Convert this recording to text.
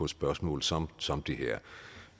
spørgsmål som som det her